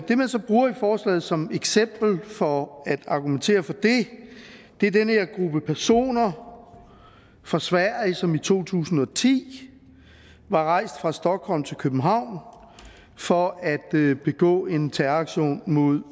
det man så bruger i forslaget som eksempel for at argumentere for det er den her gruppe personer fra sverige som i to tusind og ti var rejst fra stockholm til københavn for at begå en terroraktion mod